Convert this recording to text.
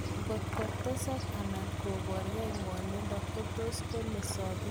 ngotko tesak ana kopargei ngwonindo kotus kole sopindet kenya kilaa